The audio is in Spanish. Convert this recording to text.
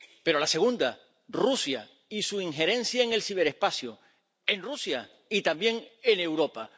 Pero la segunda, Rusia y su injerencia en el ciberespacio, en Rusia y también en Europa.